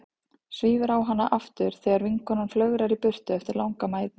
Svífur á hana aftur þegar vinkonan flögrar í burtu eftir langa mæðu.